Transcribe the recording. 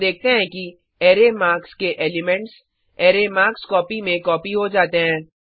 हम देखते हैं कि अरै मार्क्स के एलिमेंट्स अरै मार्कस्कोपी में कॉपी हो जाते हैं